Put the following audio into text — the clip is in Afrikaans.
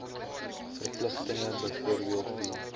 verpligtinge byvoorbeeld wie